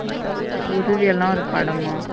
குருவி எல்லாம் ஒரு படமா.